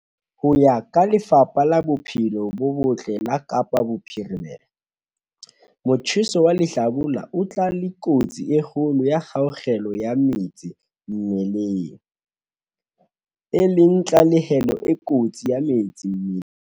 Ho ya ka Lefapha la Bophelo bo Botle la Kapa Bophirimela, motjheso wa lehlabula o tla le kotsi e kgolo ya kgaello ya metsi mmeleng, e leng tahlehelo e kotsi ya metsi mmeleng.